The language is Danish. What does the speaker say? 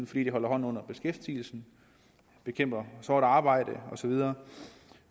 fordi det holder hånden under beskæftigelsen bekæmper sort arbejde og så videre